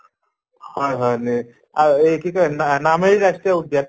হয় হয় নে আৰু এই কি কয় না নামেৰি ৰাষ্ট্ৰীয় উদ্য়ান